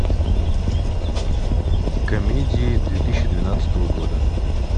комедии две тысячи двенадцатого года